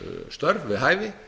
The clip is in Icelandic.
störf við hæfi